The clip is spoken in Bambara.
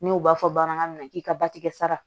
N'u b'a fɔ bamanankan na k'i ka batikɛ sara